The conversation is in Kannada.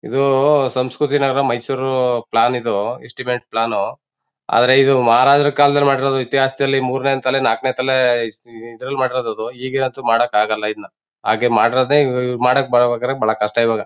ಇದೂ ಸಂಸ್ಕೃತಿ ನಗರ ಮೈಸೂರು ಪ್ಲಾನ್ ಇದು ಎಸ್ಟಿಮೇಟ್ ಪ್ಲಾನ್ ಆದ್ರೆ ಇದು ಮಹರಾಜಾರಾ ಕಾಲದಲ್ಲಿ ಮಾಡಿರೋ ಇತಿಹಾಸದಲ್ಲಿ ಮೂರನೇ ತಲೆ ನಾಲ್ಕನೇ ತಲೆ ಐಸ್ ಇದರಲ್ಲಿ ಮಾಡಿರೋದು ಅದು ಈಗಂತೂ ಮಾಡ್ಲಿಕ್ಕಾಗಲ್ಲ ಇದ್ನ ಹಾಗೆ ಮಾಡಿರೋದೇ ಇವ್ ಮಾಡ್ಬೇಕಾದ್ರೆ ಬಾಳ ಕಷ್ಟ ಇವಾಗ.